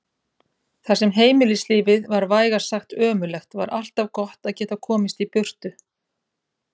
Þar sem heimilislífið var vægast sagt ömurlegt var alltaf gott að geta komist í burtu.